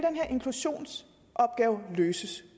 inklusionsopgave løses